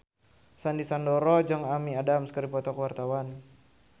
Sandy Sandoro jeung Amy Adams keur dipoto ku wartawan